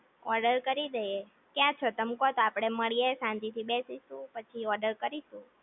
order કરી દઈએ ક્યાં છો તમે કયો તો આપણે માળીયે શાંતિ થી બેસીશું પછી ઓર્ડર કરીશું